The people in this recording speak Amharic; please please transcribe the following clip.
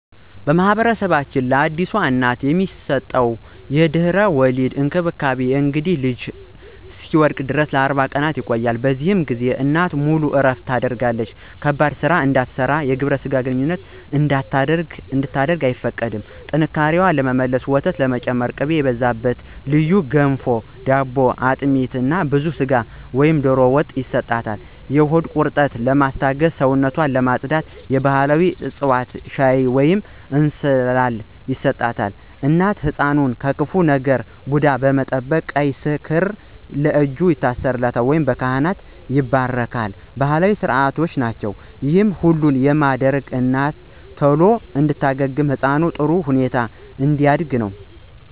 በማኅበረሰባችን ለአዲስ እናት የሚሰጠው የድህረ-ወሊድ እንክብካቤ (የእንግዴ ልጁ እስኪወድቅ) ለ40 ቀናት ይቆያል። በዚህ ጊዜ እናት ሙሉ እረፍት ታደርጋለች ከባድ ሥራ እንድትሠራና የግብረ ሥጋ ግንኙነት እንድታደርግ አይፈቀድላትም። ጥንካሬ ለመመለስና ወተት ለመጨመር ቅቤ የበዛበት ልዩ ገንፎ/ዳቦ፣ አጥሚት እና ብዙ ሥጋ ወይም ዶሮ ወጥ ይሰጣል። የሆድ ቁርጠትን ለማስታገስና ሰውነትን ለማፅዳት የባሕላዊ ዕፅዋት ሻይ ወይንም እንስላል ይሰጣታል። እናትና ሕፃኑን ከክፉ ዓይን (ቡዳ) ለመጠበቅ ቀይ ክር ለእጅ ወይም ለእግር ማሰር፣ ወይም በካህን መባረክ የተለመዱ ባሕላዊ ሥርዓቶች ናቸው። ይህ ሁሉ የሚደረገው እናት ቶሎ እንድትድንና ሕፃኑ በጥሩ ሁኔታ እንዲያድግ ነው።